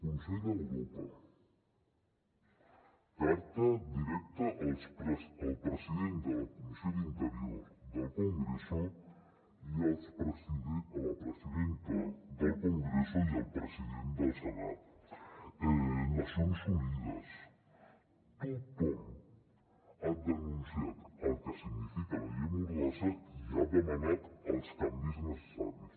consell d’europa carta directa al president de la comissió d’interior del congreso i a la presidenta del congreso i al president del senat nacions unides tothom ha denun·ciat el que significa la llei mordassa i ha demanat els canvis necessaris